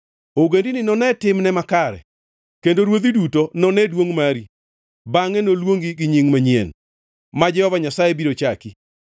Ogendini none timni makare, kendo ruodhi duto none duongʼ mari; bangʼe noluongi gi nying manyien, ma Jehova Nyasaye biro chaki.